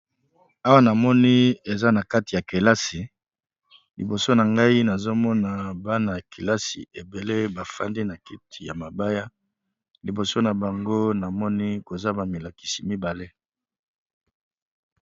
Awa na moni eza na kati ya kelasi liboso na ngai nazomona bana ya kelasi ebele bafandi na keti ya mabaya, liboso na bango namoni koza ba milakisi mibale.